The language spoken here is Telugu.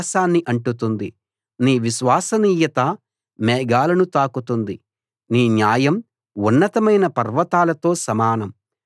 యెహోవా నీ నిబంధన కృప ఆకాశాన్ని అంటుతుంది నీ విశ్వసనీయత మేఘాలను తాకుతుంది